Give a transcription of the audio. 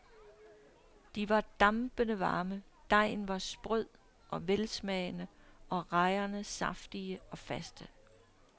De var dampende varme, dejen var sprød og velsmagende og rejerne saftige og faste.